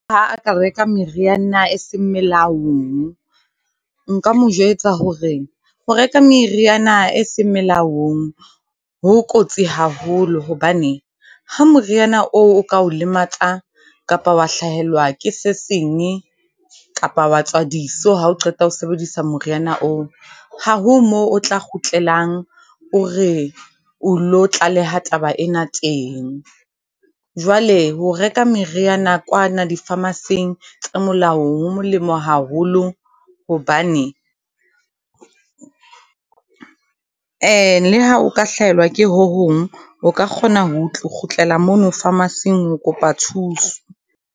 ka reka meriana e seng melaong, nka mo jwetsa hore ho reka meriana e seng molaong ho kotsi haholo hobane, ha moriana oo o ka o lematsa kapa wa hlahelwa ke se seng, kapa wa tswa diso ha o qeta ho sebedisa moriana oo. Ha ho mo o tla kgutlelang, hore o lo tlaleha taba ena teng. Jwale ho reka meriana kwana di pharmacy-eng tse molaong ho molemo haholo hobane, le ha o ka hlahelwa ke ho hong, o ka kgona ho kgutlela mono pharmacy- eng ho kopa thuso.